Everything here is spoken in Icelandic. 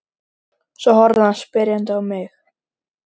Svo horfði hann spyrjandi á mig.